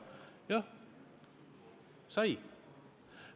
Jah, sai.